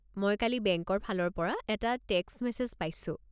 মই কালি বেংকৰ ফালৰ পৰা এটা টেক্সট মেছেজ পাইছোঁ।